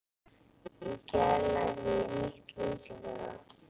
Í gær lærði ég nýtt lýsingarorð.